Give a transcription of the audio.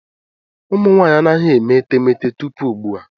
Ụmụ nwanyị anaghị eme etemeete tupu ugbu a.